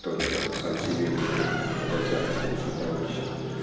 только сам себе либо заокеанским нашим товарищам